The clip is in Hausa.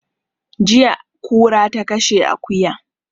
Jiya kura ta kashe akuya